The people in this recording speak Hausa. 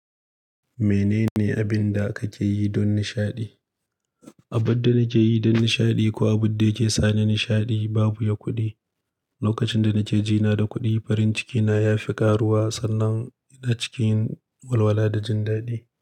Menene abin da kake yi don nishaɗi? Abin da nake yi don nishaɗi ko abun da yake sa ni nishaɗi babu ya kuɗi. Lokacin da nake jina da kuɗi, farin cikina ya fi ƙaruwa sannan ina cikin walwala da jin daɗi.